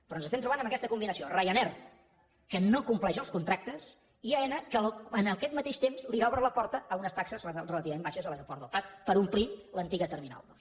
però ens estem trobant amb aquesta combinació ryanair que no compleix els contractes i aena que en aquest mateix temps li obre la porta a unes taxes relativament baixes a l’aeroport del prat per omplir l’antiga terminal dos